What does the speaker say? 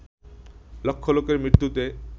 লক্ষ লোকের মৃত্যুতে